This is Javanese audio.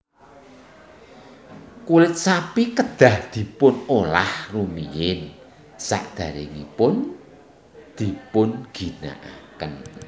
Kulit sapi kedah dipun olah rumiyin sadèrèngipun dipun ginakaken